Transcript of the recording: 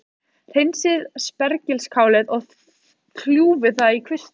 Hreinsið spergilkálið og kljúfið það í kvisti.